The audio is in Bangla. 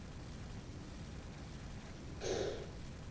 ব্রু